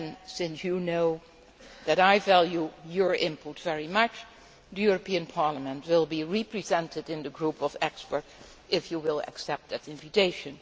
Since you know that I value your input very much, the European Parliament will be represented in the group of experts, if you will accept that invitation.